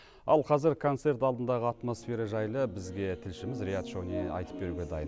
ал қазір концерт алдындағы атмосфера жайлы бізге тілшіміз риат шони айтып беруге дайын